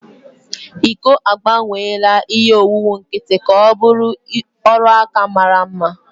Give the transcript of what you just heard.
iko agbanweela ihe owuwu nkịtị ka ọ bụrụ ọrụ nka mara mma